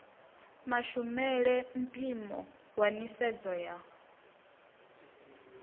mashumele mpimo wa nisedzo ya